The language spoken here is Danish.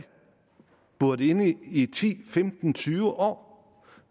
buret inde i ti femten tyve år